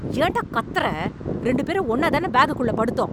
ஏண்டா கத்தறே... ரெண்டு பேரும் ஒண்ணாதான பேக்குக்குள்ள படுத்தோம்...